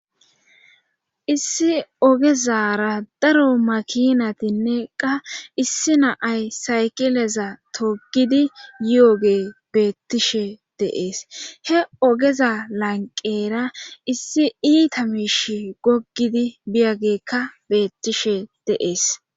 Issi ogezara daro makinatinne qa issi naay sayqileza togidi yo'oge beettishe deees he ogeza lanqera issi iita miish goggidi biyagekka beettishe deees.